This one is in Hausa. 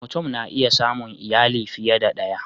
Mutum na iya samun iyali fiye da ɗaya